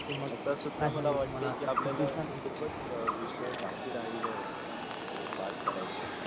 आता सध्या मला वाटे कि आपल्याला खूप विषय बाकी राहिल बात करायचं